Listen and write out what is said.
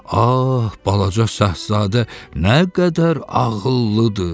Ah balaca şəhzadə nə qədər ağıllıdır.